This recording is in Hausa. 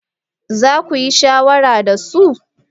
Za ku yi shawara da su?